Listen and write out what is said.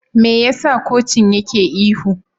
Me yasa kocin yake ihu?